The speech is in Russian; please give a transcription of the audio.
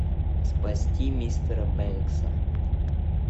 спасти мистера бэнкса